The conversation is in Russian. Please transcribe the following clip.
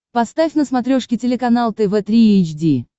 поставь на смотрешке телеканал тв три эйч ди